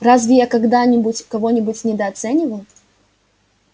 разве я когда-нибудь кого-нибудь недооценивал